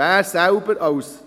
Entschuldigen Sie!